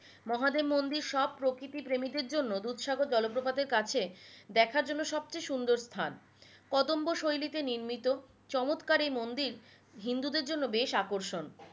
মহাদেব মন্দির সব প্রকৃতি প্রেমীদের জন্য দুধ সাগর জলপ্রপাতের কাছে দেখার জন্য সব চেয়ে সুন্দর স্থান কদম্ব শৈলীতে নির্মিত চমৎকার এই মন্দির হিন্দুদের জন্য বেশ আকর্ষণ